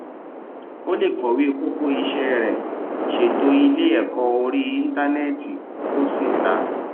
o lè kọwé kókó ṣe iṣé rẹ ṣètò ilé èkó orí íńtánéètì kó o sì ta